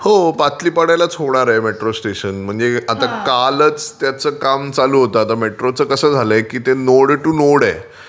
हो. पाटली पाड्यालाच होणार आहे मेट्रो स्टेशन म्हणजे आता कालच त्याचं काम चालू होतं आता मेट्रोचं कसं आहे ते नोड टू नोड आहे.